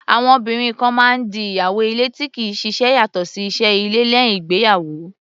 Àwọn obìnrin kan máa ń di ìyàwó ilé tí kì í ṣiṣẹ́ yàtọ̀ sí iṣẹ́ ilé, lẹ́uìn ìgbéyàwó.